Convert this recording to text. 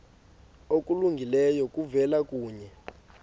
okulungileyo kuvela kuye